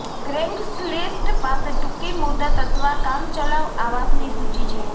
Craigslist પાસે ટૂંકી મુદત અથવા કામચલાઉ આવાસની સૂચિ છે